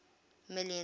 million